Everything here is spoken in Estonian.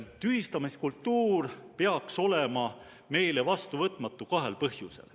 Tühistamiskultuur peaks olema meile vastuvõtmatu kahel põhjusel.